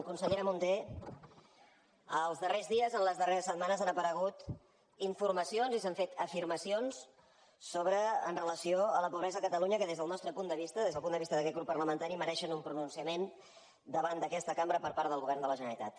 consellera munté els darrers dies en les darreres setmanes han aparegut informacions i s’han fet afirmacions en relació amb la pobresa a catalunya que des del nostre punt de vista des del punt de vista d’aquest grup parlamentari mereixen un pronunciament davant d’aquesta cambra per part del govern de la generalitat